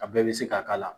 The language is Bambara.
A bɛɛ bɛ se ka k'a la